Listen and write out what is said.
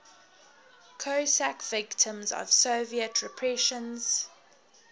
cossack victims of soviet repressions